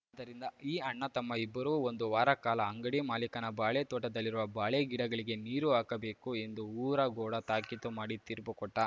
ದ್ದರಿಂದ ಈ ಅಣ್ಣತಮ್ಮ ಇಬ್ಬರೂ ಒಂದು ವಾರ ಕಾಲ ಅಂಗಡಿ ಮಾಲೀಕನ ಬಾಳೆ ತೋಟದಲ್ಲಿರುವ ಬಾಳೆ ಗಿಡಗಳಿಗೆ ನೀರು ಹಾಕಬೇಕು ಎಂದು ಊರಗೌಡ ತಾಕೀತು ಮಾಡಿ ತೀರ್ಪು ಕೊಟ್ಟ